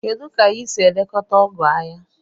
kedụ ka isi elekọta ogu anya?